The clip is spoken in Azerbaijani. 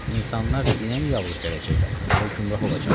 İnsanlar dinəmi yavıq gələcəklər, ya gümrah olacaqlar?